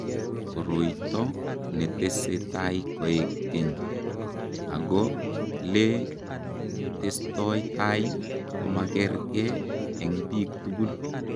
Koroito netese tai koek keny , ako le testoi tai komagerge eng bik tugul.